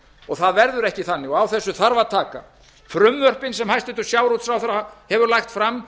og það verður ekki þannig og á þessu þarf að taka frumvörpin sem hæstvirtur sjávarútvegsráðherra hefur lagt fram